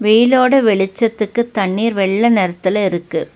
வெயிலோட வெளிச்சத்துக்கு தண்ணீர் வெள்ள நெறத்துல இருக்கு.